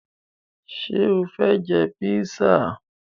Ṣé o fẹ jẹ písà?